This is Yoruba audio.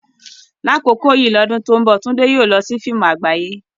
Ní àkókò yìí lọ́dún tó ń bọ̀, Tunde yóò lọ sí fíìmù àgbáyé.